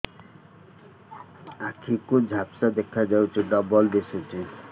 ଆଖି କୁ ଝାପ୍ସା ଦେଖାଯାଉଛି ଡବଳ ଦିଶୁଚି